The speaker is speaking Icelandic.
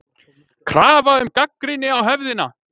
KRAFA UM GAGNRÝNI Á HEFÐINA